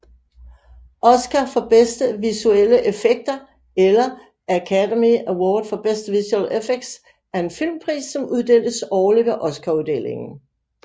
Oscar for bedste visuelle effekter eller Academy Award for Best Visual Effects er en filmpris som uddeles årligt ved Oscaruddelingen